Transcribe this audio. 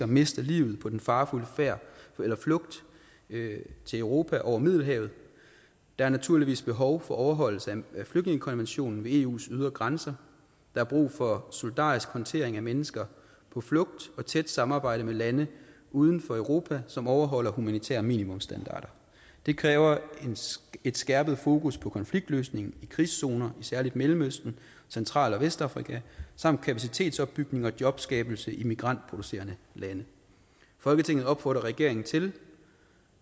mister livet på den farefulde flugt til europa over middelhavet der er naturligvis behov for overholdelse af flygtningekonventionen ved eus ydre grænser der er brug for solidarisk håndtering af mennesker på flugt og tæt samarbejde med lande uden for europa som overholder humanitære minimumsstandarder det kræver et skærpet fokus på konfliktløsning i krigszoner i særlig mellemøsten central og vestafrika samt kapacitetsopbygning og jobskabelse i migrantproducerende lande folketinget opfordrer regeringen til